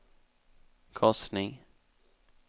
korsning